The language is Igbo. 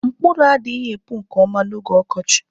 Mkpụrụ adịghị epu nke ọma n'oge ọkọchị